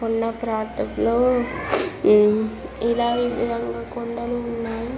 కొండ ప్రాంతంలో ఇలా ఈ విధంగా కొండలు ఉన్నాయి.